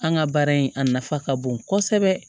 An ka baara in a nafa ka bon kosɛbɛ